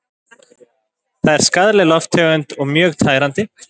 Það er skaðleg lofttegund og mjög tærandi.